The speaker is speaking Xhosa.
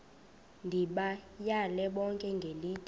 ndibayale bonke ngelithi